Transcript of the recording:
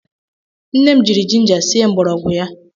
Nne jiri jinja sie mgbọrọgwụ ya.